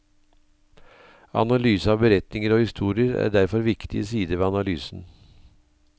Analyse av beretninger og historier er derfor en viktig side ved analysen.